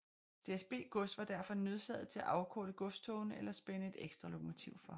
DSB Gods var derfor nødsaget til at afkorte godstogene eller spænde et ekstra lokomotiv for